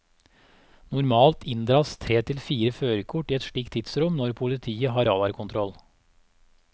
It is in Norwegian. Normalt inndras tre til fire førerkort i et slikt tidsrom når politiet har radarkontroll.